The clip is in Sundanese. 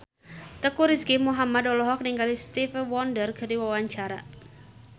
Teuku Rizky Muhammad olohok ningali Stevie Wonder keur diwawancara